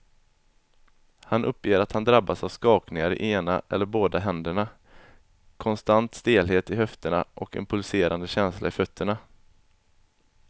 Han uppger att han drabbas av skakningar i ena eller båda händerna, konstant stelhet i höfterna och en pulserande känsla i fötterna.